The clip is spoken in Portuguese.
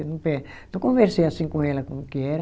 Não conversei assim com ela como que era.